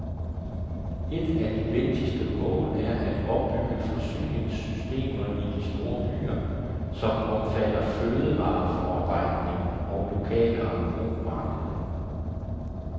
Et af de vigtigste mål er at opbygge forsyningssystemer i de store byer, som omfatter fødevareforarbejdning og lokale engrosmarkeder.